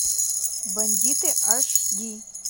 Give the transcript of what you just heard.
бандиты аш ди